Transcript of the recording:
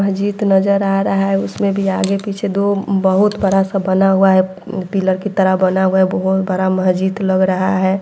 महजीद नजर आ रहा है उसमें भी आगे-पीछे दो बहुत बड़ा-सा बना हुआ है पिअर की तरह बना हुआ है बहुत बड़ा महजीद लग रहा है।